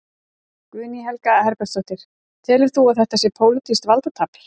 Guðný Helga Herbertsdóttir: Telur þú að þetta sé pólitískt valdatafl?